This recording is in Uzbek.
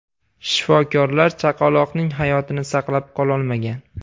Shifokorlar chaqaloqning hayotini saqlab qololmagan.